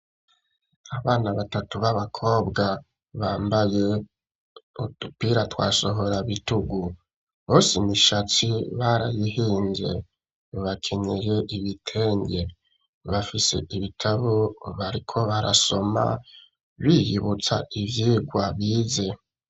Abana batatu b'abakobwa bambaye udupira twasohora bitugu. Bose ishatsi barayihinze. bakenyeye ibitenge. Bafise ibitabu bariko barasoma biyibutsa ivyigwa bize.